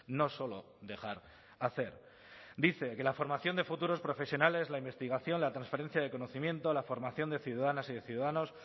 no solo dejar hacer dice que la formación de futuros profesionales la investigación la transferencia de conocimiento la formación de ciudadanas y de ciudadanos